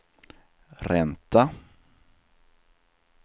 ränta